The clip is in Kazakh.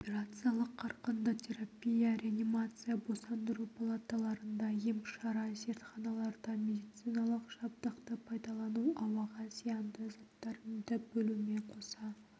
операциялық қарқынды терапия реанимация босандыру палаталарында емшара зертханаларда медициналық жабдықты пайдалану ауаға зиянды заттарды бөлумен қоса